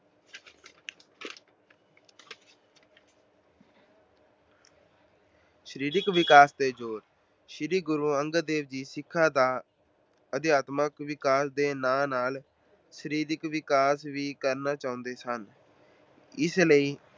ਸਰੀਰਕ ਵਿਕਾਸ ਤੇ ਜੋਰ- ਸ਼੍ਰੀ ਗੁਰੂ ਅੰਗਦ ਦੇਵ ਜੀ ਸਿੱਖਾਂ ਦਾ ਅਧਿਆਤਮਕ ਵਿਕਾਸ ਦੇ ਨਾਲ-ਨਾਲ ਸਰੀਰਕ ਵਿਕਾਸ ਵੀ ਕਰਨਾ ਚਾਹੁੰਦੇ ਸਨ। ਇਸ ਲਈ